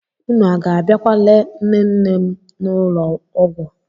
Unu a ga-abịakwa lee nne nne n'ụlọ ọgwụ?